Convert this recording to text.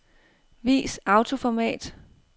Vis autoformat.